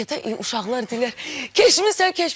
Uşaqlar deyirlər, keçmisən, keçmisən.